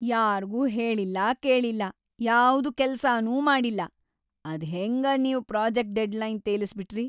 ಯಾರ್ಗೂ ಹೇಳಿಲ್ಲಾ ಕೇಳಿಲ್ಲಾ ಯಾವ್ದೂ ಕೆಲ್ಸಾನೂ ಮಾಡಿಲ್ಲಾ ಅದ್ಹೆಂಗ ನೀವ್‌ ಪ್ರೋಜೆಕ್ಟ್‌ ಡೆಡ್‌ಲೈನ್‌ ತೇಲಸ್ಬಿಟ್ರಿ.